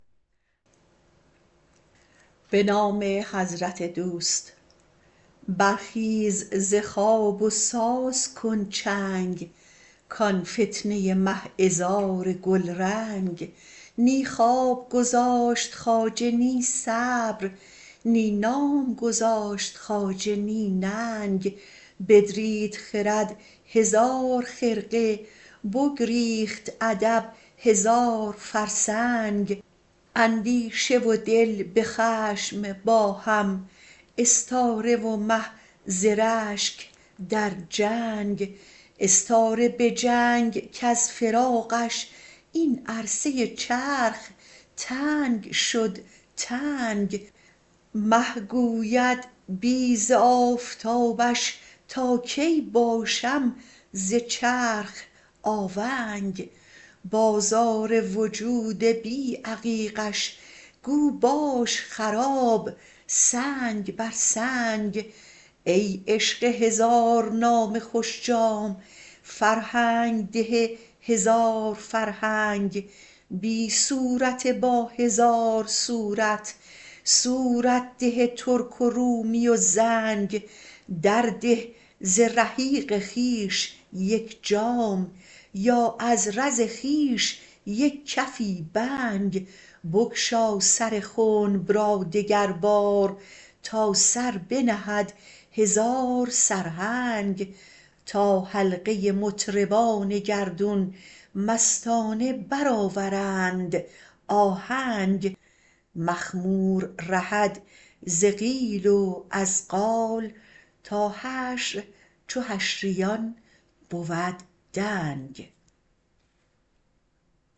برخیز ز خواب و ساز کن چنگ کان فتنه مه عذار گلرنگ نی خواب گذاشت خواجه نی صبر نی نام گذاشت خواجه نی ننگ بدرید خرد هزار خرقه بگریخت ادب هزار فرسنگ اندیشه و دل به خشم با هم استاره و مه ز رشک در جنگ استاره به جنگ کز فراقش این عرصه چرخ تنگ شد تنگ مه گوید بی ز آفتابش تا کی باشم ز چرخ آونگ بازار وجود بی عقیقش گو باش خراب سنگ بر سنگ ای عشق هزارنام خوش جام فرهنگ ده هزار فرهنگ بی صورت با هزار صورت صورت ده ترک و رومی و زنگ درده ز رحیق خویش یک جام یا از رز خویش یک کفی بنگ بگشا سر خنب را دگربار تا سر بنهد هزار سرهنگ تا حلقه مطربان گردون مستانه برآورند آهنگ مخمور رهد ز قیل و از قال تا حشر چو حشریان بود دنگ